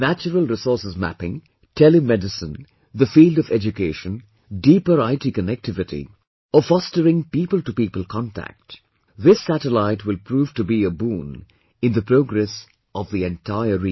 Natural resources mapping, tele medicine, the field of education, deeper IT connectivity or fostering people to people contact this satellite will prove to be a boon in the progress of the entire region